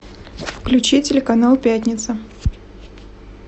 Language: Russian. включи телеканал пятница